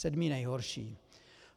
Sedmý nejhorší.